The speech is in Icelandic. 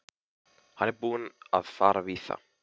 Hann er búinn að fara víða.